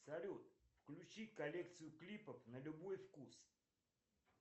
салют включи коллекцию клипов на любой вкус